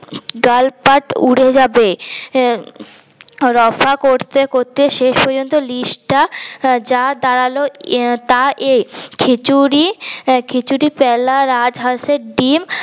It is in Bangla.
গাল পাট উড়ে যাবে রফা করতে করতে শেষ পর্যন্ত list টা যা দাড়াল তা এই খিচুড়ি প্যালা রাজ হাসের ডিম্